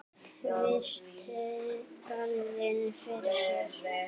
Virti garðinn fyrir sér.